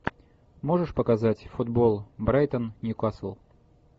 можешь показать футбол брайтон ньюкасл